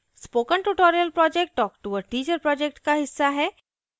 spoken tutorial project talktoa teacher project का हिस्सा है